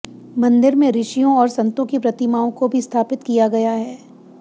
मंदिर में ऋषियों और संतों की प्रतिमाओं को भी स्थापित किया गया है